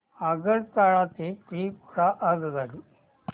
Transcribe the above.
आगरतळा ते त्रिपुरा आगगाडी